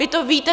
Vy to víte?